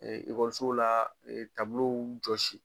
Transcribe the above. Ɛɛ ekɔlisow la jɔsi.